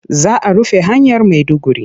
Za a rufe hanyar Maiduguri.